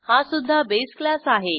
हा सुध्दा base class आहे